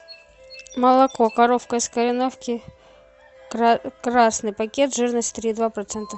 молоко коровка из кореновки красный пакет жирность три и два процента